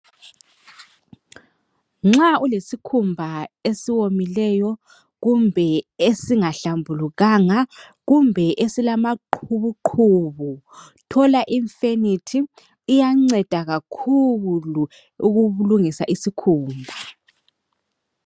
Nxa ulesikhumba esiwomileyo kumbe esingahlambulukanga kumbe esilamaqhubu qhubu thola infinite iyanceda kakhulu ukulungisa isikhumba .